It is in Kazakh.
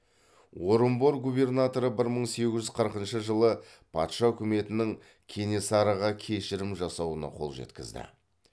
орынбор губернаторы бір мың сегіз жүз қырқыншы жылы патша үкіметінің кенесарыға кешірім жасауына қол жеткізді